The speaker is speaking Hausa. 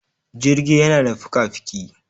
Jirgi yana da fika-fiki.